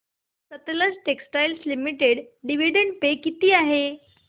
Sutlej textiles limited dividend pay किती आहे